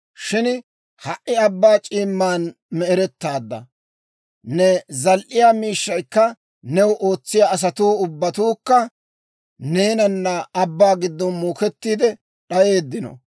Shin ha"i abbaa c'iimman me'erettaadda. Ne zal"iyaa miishshaykka, new ootsiyaa asatuu ubbatuukka, neenana abbaa giddon muukettiide d'ayeeddino.